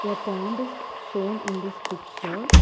A pond is shown in this picture.